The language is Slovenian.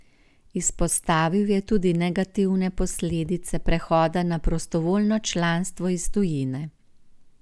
Izpostavil je tudi negativne posledice prehoda na prostovoljno članstvo iz tujine.